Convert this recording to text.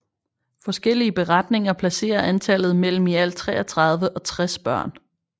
Forskellige beretninger placerer antallet mellem i alt 33 og 60 børn